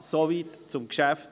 Soweit zum Geschäft.